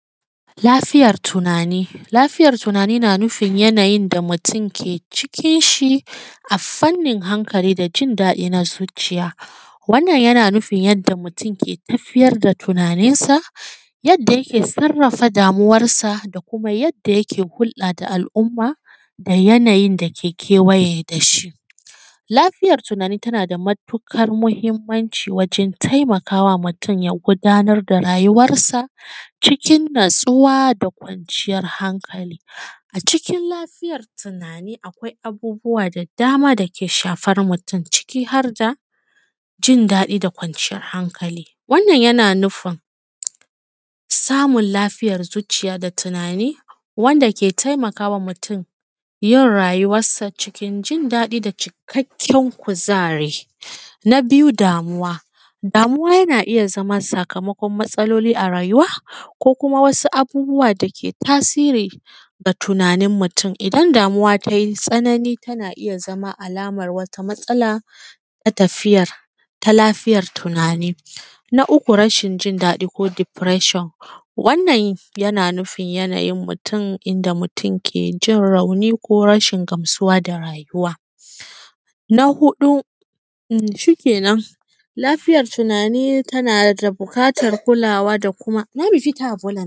lafiyar tunani lafiyar tunani na nufin yanayin da mutum ke cikin shi a fannin hankali da jin daɗi na zuciya wannan yana nufin yadda mutum ke tafiyar da tunanin sa yadda yake sarrafa damuwan sa da kuma yadda yake hulɗa da al’umma da yanayin da ke kewaye da shi lafiyar tunani tana da matuƙar muhimmanci wajen taimakawa wa mutum ya gudanar da rayuwansa cikin natsuwa da kwanciyar hankali a cikin lafiyar tunani akwai abubuwa da dama da ke shafar mutum ciki harda jindaɗi da kwanciyar hankali wannan yana nufin samun lafiyan zuciya da tunani wanda ke taimakawa mutum yin rayuwarsa cikin jindaɗi da cikakken kuzari na biyu damuwa damuwa yana iya zama sakamakon matsaloli a rayuwa ko kuma wasu abubuwa da ke tasiri ga tunanin mutum idan damuwa tai tsanani tana iya zama alaman wata matsala na tafiya ta lafiyar tunani na uku rashin jindaɗi ko depression wannan yana nufin yanayin mutum inda mutum ke jin rauni ko rashin gamsuwa da rayuwa na huɗu shikenan lafiyan tunani tana da buƙatar kulawa da kuma